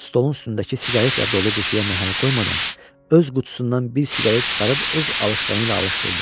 Stolun üstündəki siqaretdə dolu qutuya məhəl qoymadan, öz qutusundan bir siqaret çıxarıb öz alışqanı ilə alışdırdı.